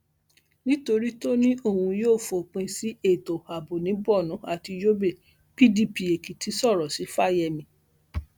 nítorí tó ní òun yóò fòpin sí ètò ààbò ni borno àti yobe pdp èkìtì sọrọ sí fáyemí